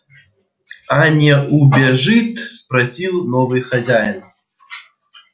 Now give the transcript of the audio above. а не убежит спросил новый хозяин